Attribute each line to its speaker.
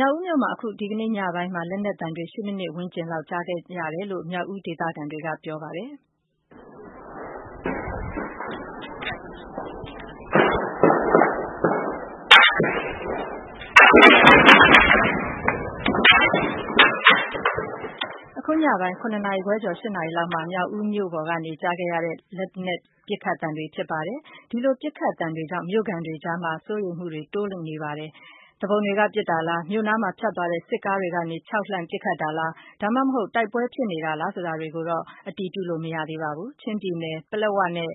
Speaker 1: မြောက်ဦးမြို့မှာ အခု ဒီကနေ့ ညပိုင်းမှာ လက်နက်သံတွေ ၈မိနစ် ဝန်းကျင်လောက် ကြားခဲ့ရတယ်လို့ မြောက်ဦးဒေသခံတွေက ပြောပါတယ်။ အခု ပိုင်း ၇နာရီခွဲကျော် ၈ နာရီလောက်မှာ မြောက်ဦးမြို့ပေါ်ကနေ ကြားနေရတဲ့ လက်နက်ပစ်ခတ်သံတွေဖြစ်ပါတယ်။ ဒီလို ပစ်ခတ်သံတွေကြောင့် မြို့ခံတွေအကြား စိုးရိမ်မှုတွေ တိုးနေပါတယ်။ သူပုန်တွေက ပစ်တာလား၊ မြို့နားမှာ ဖြတ်သွားတဲ့ စစ်ကားတွေကနေ ခြောက်လှန့်ပစ်ခတ်တာလား၊ ဒါမှမဟုတ် တိုက်ပွဲဖြစ်တာလား ဆိုတာတွေကို အတည်ပြုလို့မရသေးပါဘူး။ ချင်းပြည်နယ် ပလက်ဝနဲ့